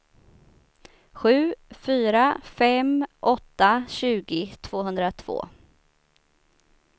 sju fyra fem åtta tjugo tvåhundratvå